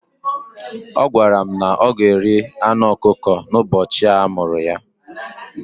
Ọ gwara m na o ga-eri anụ ọkụkọ n'ụbọchị a mụrụ ya.